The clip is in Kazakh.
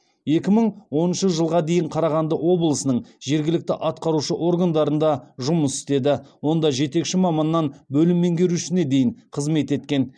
екі мың оныншы жылға дейін қарағанды облысының жергілікті атқарушы органдарында жұмыс істеді онда жетекші маманнан бөлім меңгерушісіне дейін қызмет еткен